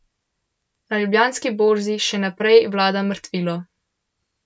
Na Ljubljanski borzi še naprej vlada mrtvilo.